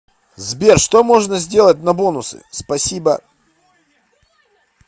сбер что можно сделать на бонусы спасибо